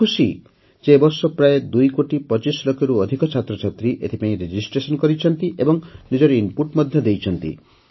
ମୁଁ ଖୁସି ଯେ ଏ ବର୍ଷ ପ୍ରାୟ ୨ କୋଟି ୨୫ ଲକ୍ଷରୁ ଅଧିକ ଛାତ୍ରଛାତ୍ରୀ ଏଥିପାଇଁ ପଞ୍ଜିକରଣ କରିଛନ୍ତି ଏବଂ ନିଜର ଇନପୁଟ ମଧ୍ୟ ଦେଇଛନ୍ତି